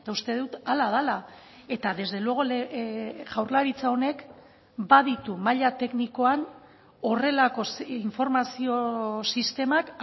uste dut hala dela eta desde luego jaurlaritza honek baditu maila teknikoan horrelako informazio sistemak